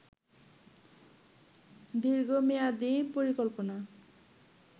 দীর্ঘমেয়াদি পরিকল্পনা